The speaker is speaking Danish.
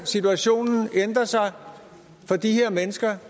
situationen ændrer sig for de her mennesker